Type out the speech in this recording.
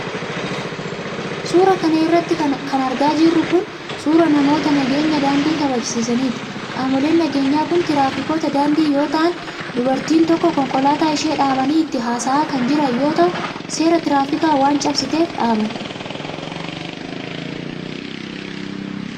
Suura kana irratti kan argaa jirru kun ,suura namoota nageenya daandii kabajsiisaniiti. Qaamoleen nageenyaa kun tiraafikoota daandii yoo ta'an dubartii tokko konkolaataa ishee dhaabanii itti haasa'aa kan jiran yoo ta'u, seera tiraafikaa waan cabsiteef dhaaban.